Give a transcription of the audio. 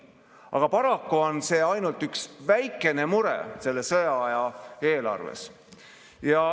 Aga paraku on see ainult üks väikene mure selles sõjaaja eelarves.